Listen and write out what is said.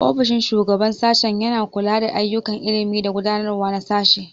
Ofishin Shugaban Sashen yana kula da ayyukan ilimi da gudanarwa na sashe.